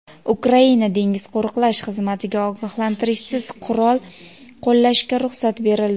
Ukraina dengiz qo‘riqlash xizmatiga ogohlantirishsiz qurol qo‘llashga ruxsat berildi.